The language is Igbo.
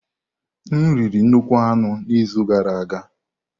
M riri nnukwu anụ n'izu gara aga.